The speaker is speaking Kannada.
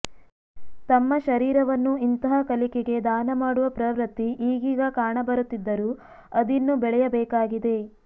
ತಮ್ಮ ಶರೀರವನ್ನು ಇಂತಹ ಕಲಿಕೆಗೆ ದಾನ ಮಾಡುವ ಪ್ರವೃತ್ತಿ ಈಗೀಗ ಕಾಣಬರುತ್ತಿದ್ದರೂ ಅದಿನ್ನೂ ಬೆಳೆಯಬೇಕಾಗಿದೆ